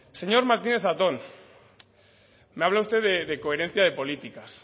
señor martínez zatón me habla usted de coherencia de políticas